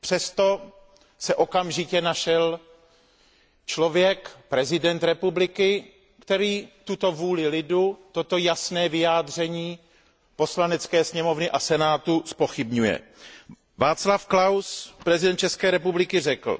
Přesto se okamžitě našel člověk, prezident republiky, který tuto vůli lidu, toto jasné vyjádření Poslanecké sněmovny a senátu, zpochybňuje. Václav Klaus, prezident České republiky, řekl